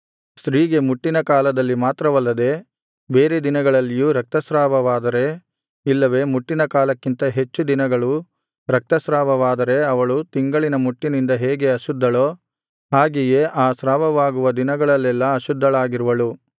ಸ್ತ್ರೀಗೆ ಮುಟ್ಟಿನ ಕಾಲದಲ್ಲಿ ಮಾತ್ರವಲ್ಲದೆ ಬೇರೆ ದಿನಗಳಲ್ಲಿಯೂ ರಕ್ತಸ್ರಾವವಾದರೆ ಇಲ್ಲವೆ ಮುಟ್ಟಿನ ಕಾಲಕ್ಕಿಂತ ಹೆಚ್ಚು ದಿನಗಳು ರಕ್ತಸ್ರಾವವಾದರೆ ಅವಳು ತಿಂಗಳಿನ ಮುಟ್ಟಿನಿಂದ ಹೇಗೆ ಅಶುದ್ಧಳೋ ಹಾಗೆಯೇ ಆ ಸ್ರಾವವಾಗುವ ದಿನಗಳಲ್ಲೆಲ್ಲಾ ಅಶುದ್ಧಳಾಗಿರುವಳು